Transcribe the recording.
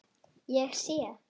Ég sé.